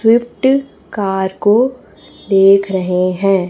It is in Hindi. स्विफ्ट कार को देख रहे हैं।